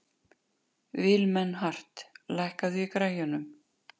Vilmenhart, lækkaðu í græjunum.